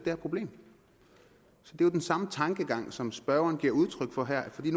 her problem det er den samme tankegang som spørgeren nu giver udtryk for her fordi